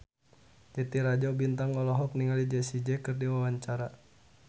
Titi Rajo Bintang olohok ningali Jessie J keur diwawancara